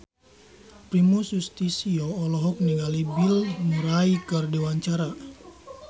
Primus Yustisio olohok ningali Bill Murray keur diwawancara